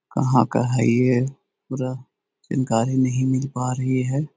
कहां का है ये पूरा जानकारी नहीं मिल पा रही है।